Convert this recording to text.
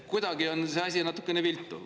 Kuidagi on see asi natukene viltu.